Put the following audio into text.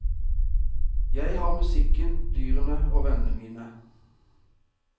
Jeg har musikken, dyrene og vennene mine.